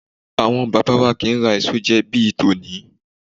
Àwọn bàbá wa kì í ra èso jẹ bí i tòní.